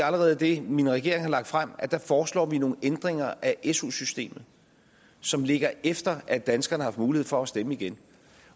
allerede i det min regering har lagt frem at der foreslår vi nogle ændringer af su systemet som ligger efter at danskerne har mulighed for at stemme igen